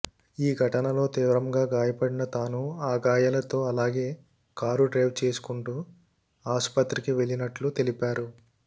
ఈ ఘటనలో తీవ్రంగా గాయపడిన తాను ఆ గాయాలతో అలాగే కారు డ్రైవ్ చేసుకుంటూ ఆసుపత్రికి వెళ్లినట్లు తెలిపారు